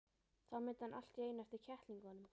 Þá mundi hann allt í einu eftir kettlingunum.